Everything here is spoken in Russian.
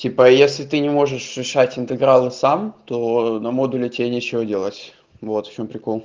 типа если ты не можешь решать интегралы сам то на модуле тебе нечего делать вот в чем прикол